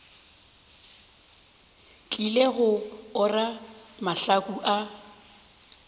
tlile go ora mahlaku a